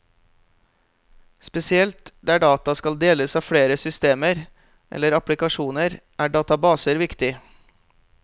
Spesielt der data skal deles av flere systemer eller applikasjoner, er databaser viktig.